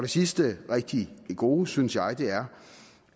sidste rigtig gode synes jeg er